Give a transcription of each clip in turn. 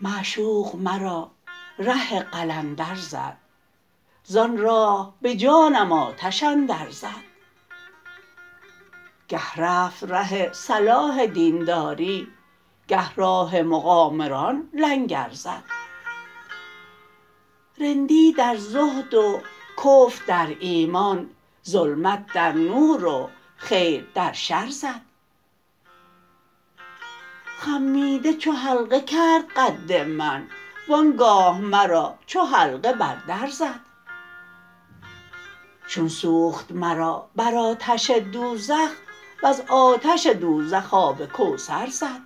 معشوق مرا ره قلندر زد زان راه به جانم آتش اندر زد گه رفت ره صلاح دینداری گه راه مقامران لنگر زد رندی در زهد و کفر در ایمان ظلمت در نور و خیر در شر زد خمیده چو حلقه کرد قد من و آنگاه مرا چو حلقه بر در زد چون سوخت مرا بر آتش دوزخ وز آتش دوزخ آب کوثر زد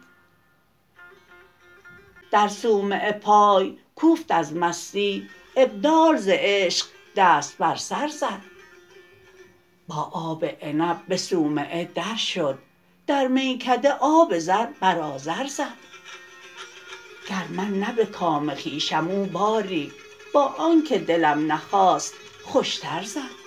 در صومعه پای کوفت از مستی ابدال ز عشق دست بر سر زد با آب عنب به صومعه در شد در میکده آب زر بر آذر زد گر من نه به کام خویشم او باری با آنکه دلم نخواست خوشتر زد